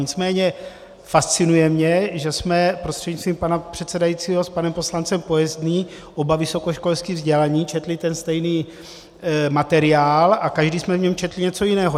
Nicméně fascinuje mě, že jsme prostřednictvím pana předsedajícího s panem poslancem Pojezdným, oba vysokoškolsky vzdělaní, četli ten stejný materiál a každý jsme v něm četli něco jiného.